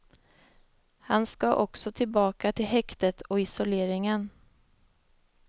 Han ska också tillbaka till häktet och isoleringen.